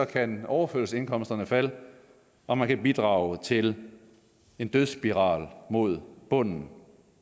kan overførselsindkomsterne falde og man kan bidrage til en dødsspiral mod bunden